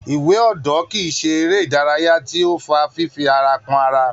Iwe odo kii ṣe eré ìdárayá tí ó fa fifi ara kan ara.